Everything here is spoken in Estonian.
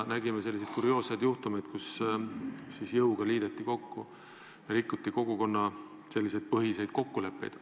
Nägime selliseid kurioosseid juhtumeid, kus jõuga liideti kokku ja rikuti kogukonnapõhiseid kokkuleppeid.